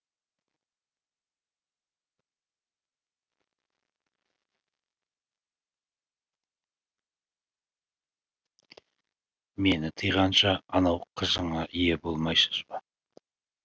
мені тыйғанша анау қыжыңа ие болмайшыж ба